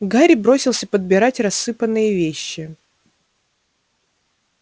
гарри бросился подбирать рассыпанные вещи